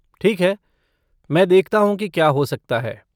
ठीक है, मैं देखता हूँ की क्या हो सकता है।